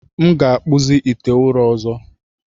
M ga-akpụzi ite ụrọ ọzọ.